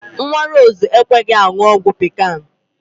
Nwa Rose ekweghi aṅụ ọgwụ pikan